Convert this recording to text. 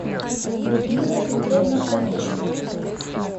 людмила петровна фомичева